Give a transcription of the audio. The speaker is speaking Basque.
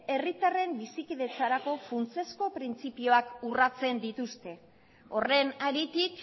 herritarren bizikidetzarako funtsezko printzipioak urratzen dituzte horren haritik